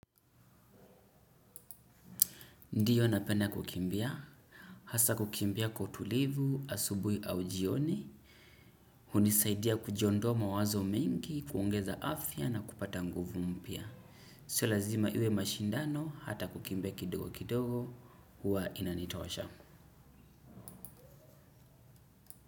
Ndiyo, napenda kukimbia, hasa kukimbia kwa utulivu, asubuhi au jioni, hunisaidia kuondoa mawazo mingi, huongeza afya na kupata nguvu mpya. Sio lazima iwe mashindano, hata kukimbia kidogo kidogo, huwa inanitosha.